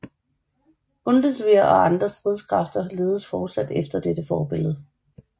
Bundeswehr og andre stridskræfter ledes fortsat efter dette forbillede